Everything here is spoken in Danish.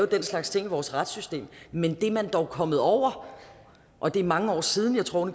den slags ting i vores retssystem men det er man dog kommet over og det er mange år siden jeg tror